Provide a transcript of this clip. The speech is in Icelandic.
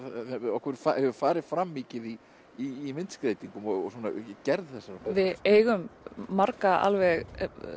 okkur hefur farið fram mikið í í myndskreytingum og í gerð þessara við eigum marga alveg